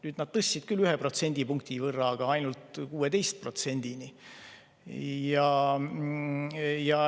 Nüüd nad tõstsid küll seda maksu ühe protsendipunkti võrra, aga ainult 16%‑ni.